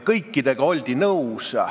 Kõigega oldi nõus.